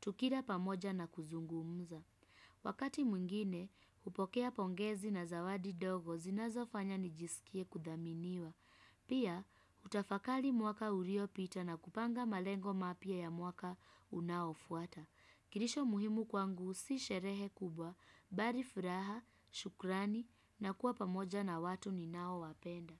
tukila pamoja na kuzungumza. Wakati mwingine, hupokea pongezi na zawadi ndogo zinazo fanya nijisikie kudhaminiwa. Pia, hutafakari mwaka uliopita na kupanga malengo mapya ya mwaka unaofuata. Kilisho muhimu kwangu si sherehe kubwa, bali furaha, shukrani na kuwa pamoja na watu ninao wapenda.